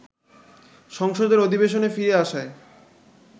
সংসদের অধিবেশনে ফিরে আসায়